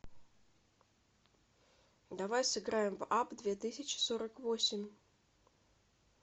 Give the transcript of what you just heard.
давай сыграем в апп две тысячи сорок восемь